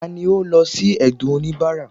tani o lọ si ẹdun onibara?